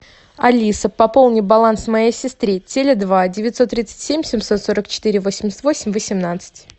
алиса пополни баланс моей сестры теле два девятьсот тридцать семь семьсот сорок четыре восемьдесят восемь восемнадцать